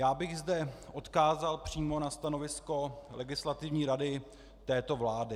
Já bych zde odkázal přímo na stanovisko Legislativní rady této vlády.